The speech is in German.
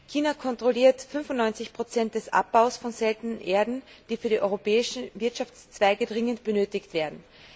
China kontrolliert 95 des Abbaus von Seltenen Erden, die von den europäischen Wirtschaftszweigen dringend benötigt werden.